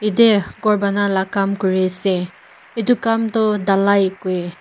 yete ghor buna la kam kuri ase etu kan tu dalai koi.